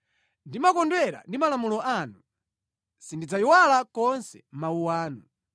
Ndimakondwera ndi malamulo anu; sindidzayiwala konse mawu anu.